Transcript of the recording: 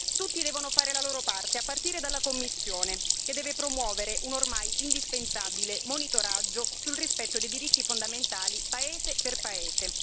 Tutti devono fare la loro parte, a partire dalla Commissione, che deve promuovere un ormai indispensabile monitoraggio sul rispetto dei diritti fondamentali, paese per paese.